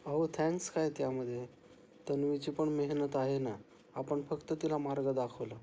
आहो थँक्स काय त्यामध्ये? तन्वीची पण मेहनत आहे ना. आपण फक्त तिला मार्ग दाखवला.